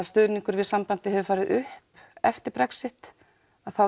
stuðningur við sambandið hefur farið upp eftir Brexit þá